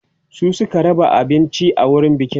su Suka raba abinci a wurin bikin